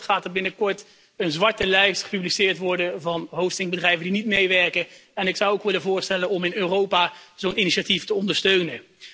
In Nederland wordt er binnenkort een zwarte lijst gepubliceerd van hostingbedrijven die niet meewerken, en ik zou ook willen voorstellen om in Europa zo'n initiatief te ondersteunen.